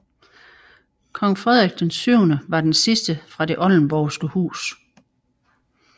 Kong Frederik VII var den sidste fra Det Oldenborgske Hus